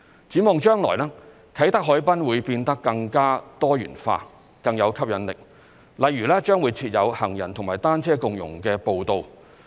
展望將來，啟德海濱會變得更加多元化，更有吸引力，例如將會設有行人和單車共融的步道。